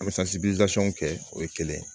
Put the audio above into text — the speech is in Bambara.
kɛ o ye kelen ye